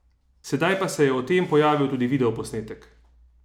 Sedaj pa se je o tem pojavil tudi videoposnetek!